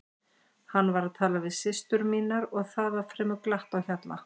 Hann var að tala við systur mínar og það var fremur glatt á hjalla.